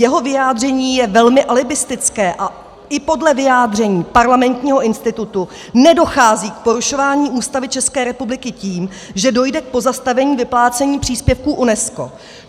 Jeho vyjádření je velmi alibistické a i podle vyjádření Parlamentního institutu nedochází k porušování Ústavy České republiky tím, že dojde k postavení vyplácení příspěvků UNESCO.